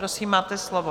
Prosím, máte slovo.